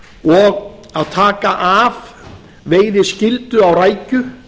og að taka af veiðiskyldu á rækju